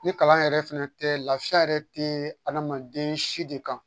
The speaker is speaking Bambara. Ni kalan yɛrɛ fɛnɛ tɛ lafiya yɛrɛ tɛ adamaden si de kan